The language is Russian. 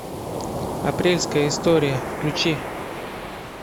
апрельская история включи